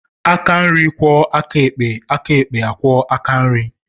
Aka nri kwoo aka ekpe, aka ekpe akwoo aka nri.